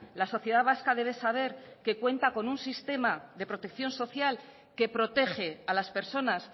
la sociedad vasca debe saber que cuenta con un sistema de protección social que protege a las personas